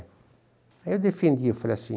Aí eu defendi, falei assim,